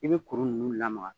I bi kuru ninnu lamaga.